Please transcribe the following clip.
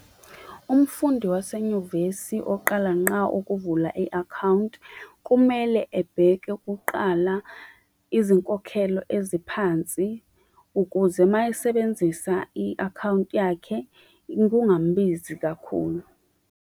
Umfundi wasenyuvesi oqala ngqa ukuvula i-akhawunti, kumele ebheke kuqala izinkokhelo eziphansi ukuze uma esebenzisa i-akhawunti yakhe kungambizi kakhulu.